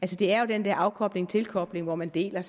det er jo den der afkobling og tilkobling hvor man deler